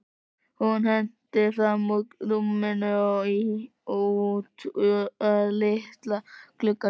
Hún hentist fram úr rúminu og út að litla glugganum.